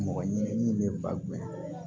Mɔgɔ ɲini min bɛ bakun ye